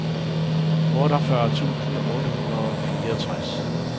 otteogfyrre tusind otte hundrede og fireogtres